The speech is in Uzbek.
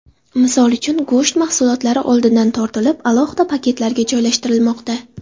Misol uchun, go‘sht mahsulotlari oldindan tortilib, alohida paketlarga joylashtirilmoqda.